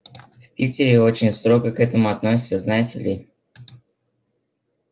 в питере очень строго к этому относятся знаете ли